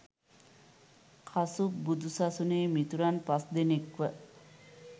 කසුප් බුදු සසුනෙහි මිතුරන් පස් දෙනෙක්ව